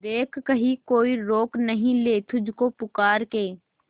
देख कहीं कोई रोक नहीं ले तुझको पुकार के